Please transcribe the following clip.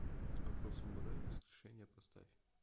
афросамурай воскрешение поставь